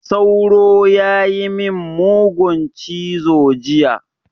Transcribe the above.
Sauro ya yi min mugun cizo jiya.